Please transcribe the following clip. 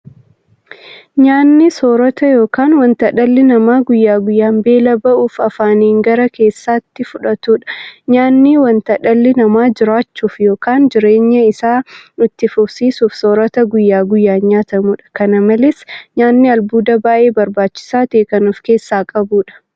Nyaanni soorota yookiin wanta dhalli namaa guyyaa guyyaan beela ba'uuf afaaniin gara keessaatti fudhatudha. Nyaanni wanta dhalli namaa jiraachuuf yookiin jireenya isaa itti fufsiisuuf soorata guyyaa guyyaan nyaatamudha. Kana malees nyaanni albuuda baay'ee barbaachisaa ta'e kan ofkeessaa qabudha.